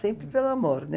Sempre pelo amor, né?